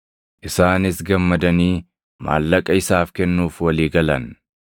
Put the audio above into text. Isaanis gammadanii maallaqa isaaf kennuuf walii galan.